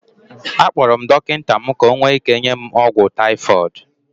Akpọrọ m dọkịta mụ ka ọ nwee ike nye m ọgwụ typhoid